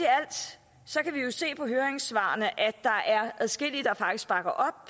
så kan vi jo se på høringssvarene at der er adskillige der faktisk bakker